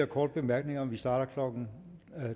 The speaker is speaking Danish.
korte bemærkninger og vi starter klokken